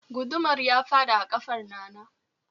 Gudumar ya fadi a kafar Nana